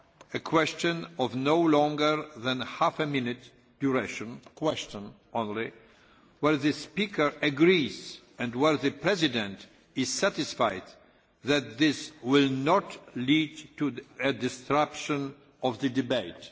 a question of no longer than half a minute's duration' a question only where the speaker agrees and where the President is satisfied that this will not lead to a disruption of the debate.'